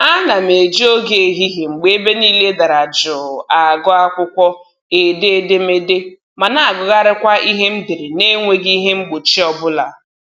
Ana m eji oge ehihie mgbe ebe niile dara jụụ agụ akwụkwọ, ede edemede, ma na-agụgharịkwa ihe m dere na-enweghị ihe mgbochi ọbụla